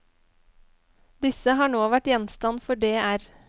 Disse har nå vært gjenstand for dr.